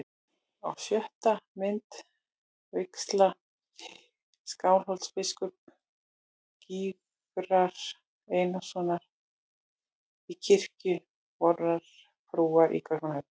Á sjöttu mynd: vígsla nýs Skálholtsbiskups, Gizurar Einarssonar, í kirkju vorrar frúar í Kaupmannahöfn.